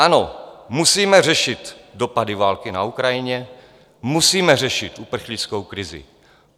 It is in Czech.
Ano, musíme řešit dopady války na Ukrajině, musíme řešit uprchlickou krizi.